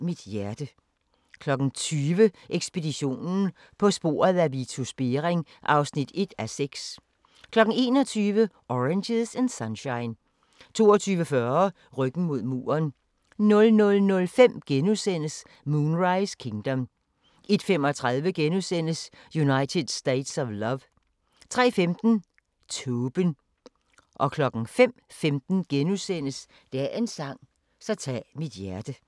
20:00: Ekspeditionen - på sporet af Vitus Bering (1:6) 21:00: Oranges and Sunshine 22:40: Ryggen mod muren 00:05: Moonrise Kingdom * 01:35: United States of Love * 03:15: Tåben 05:15: Dagens sang: Så tag mit hjerte *